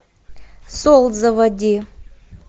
солт заводи